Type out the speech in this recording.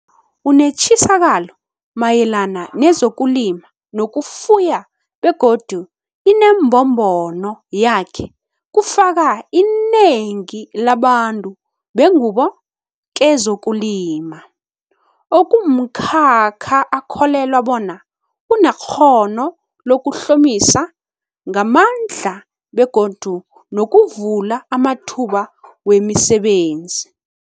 Unetjisakalo mayelana nezokulima nokufuya begodu inembombono yakhe kufaka inengi labantu bengubo kezokulima, okumkhakha akholelwa bona unekghono lokuhlomisa ngamandla begodu nokuvula amathuba wemisebenzi.